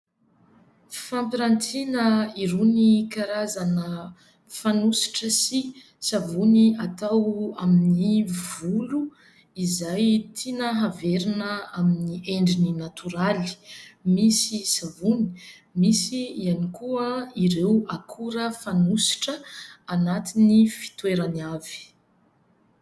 Fampirantiana irony karazana fanosotra sy savony atao amin'ny volo izay tiana averina amin'ny endriny natoraly. Misy savony. Misy ihany koa ireo akora fanosotra anatiny fitoerany avy.